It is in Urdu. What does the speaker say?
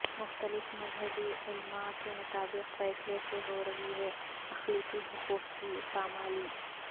مختلف مذہبی علماء کے مطابق فیصلے سے ہورہی ہے اقلیتی حقوق کی پامالی